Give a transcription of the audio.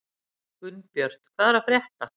Gunnbjört, hvað er að frétta?